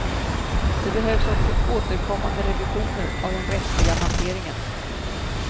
Det behövs också återkommande revisioner av den rättsliga hanteringen.